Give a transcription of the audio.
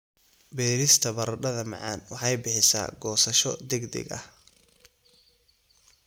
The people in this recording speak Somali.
Beerista baradhada macaan waxay bixisaa goosasho degdeg ah.